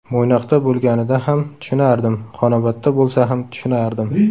Mo‘ynoqda bo‘lganida ham tushunardim, Xonobodda bo‘lsa ham tushunardim.